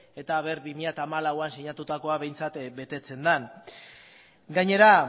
ez eta ea bi mila hamalauean sinatutakoa behintzat betetzen den gainera